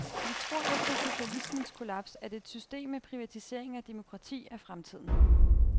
Vi tror efter socialismens kollaps, at et system med privatisering og demokrati er fremtiden.